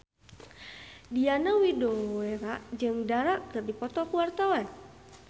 Diana Widoera jeung Dara keur dipoto ku wartawan